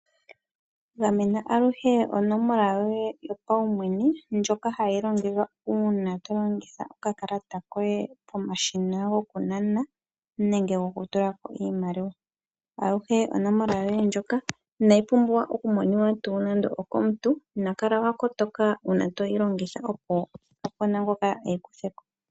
Gamena aluhe onomola yoye yo paumwene ndjaola hayi longithwa uuna to longitha okakalata koye, pomashina gokunana nenge gokutulako iimaliwa. Aluhe onomola yoye ndjoka inayi pumbwa okumoniwa tuu nando okomuntu, na kala wa kotoka uuna to yi longitha opo ngoka eyi kutheko.